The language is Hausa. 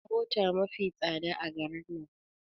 Mota mafi tsada a garin nan